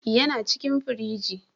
Yana cikin firigi.